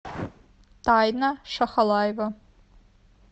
тайна шахалаева